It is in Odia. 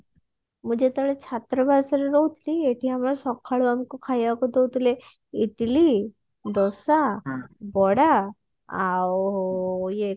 ମୁଁ ଯେତେବେଳେ ଛାତ୍ରାବାସରେ ରହୁଥିଲି ଏଠି ଆମକୁ ସକାଳୁ ଆମକୁ ଖାଇବାକୁ ଦଉଥିଲେ ଇଟିଲି ଦୋସା ବରା ଆଉ ଇଏ